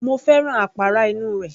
Mo fẹ́ràn àpárá inú rẹ̀